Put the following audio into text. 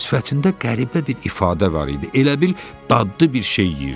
Sifətində qəribə bir ifadə var idi, elə bil dadlı bir şey yeyirdi.